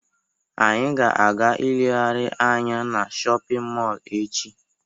Anyị ga-aga ilegharị anya na shọpịn mọọlụ echi.